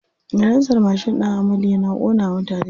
Salansar mashin ɗin amadu yana ƙona wa mutane ƙafa.